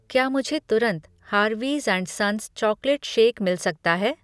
क्या मुझे तुरंत Harvey's and sons chocolate shake मिल सकता है?